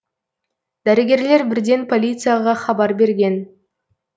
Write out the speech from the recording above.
дәрігерлер бірден полицияға хабар берген